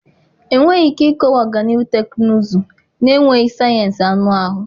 Enweghị ike ịkọwa ọganihu teknụzụ na-enweghị sayensị anụ ahụ.